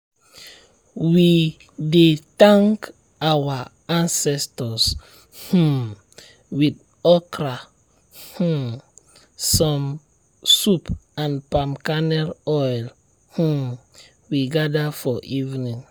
we dey thank our ancestors um with with okra um soup and palm kernel oil as um we gather for evening.